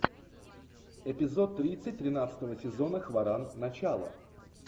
эпизод тридцать тринадцатого сезона хваран начало